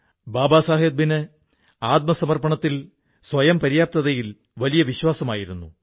ബാബാ സാഹബിന് ആത്മനിർഭരതയിൽ സ്വയംപര്യാപ്തതയിൽ വലിയ വിശ്വാസമായിരുന്നു